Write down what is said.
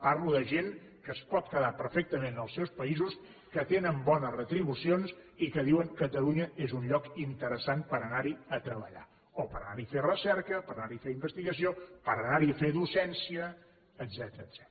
parlo de gent que es pot quedar perfectament en els seus països que tenen bones retribucions i que diuen catalunya és un lloc interessant per anar hi a treballar o per anar hi a fer recerca per anar hi a fer investigació per anar hi a fer docència etcètera